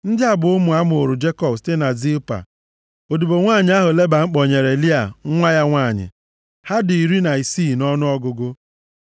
Ndị a bụ ụmụ a mụụrụ Jekọb site na Zilpa, odibo nwanyị ahụ Leban kpọnyere Lịa nwa ya nwanyị. Ha dị iri na isii nʼọnụọgụgụ.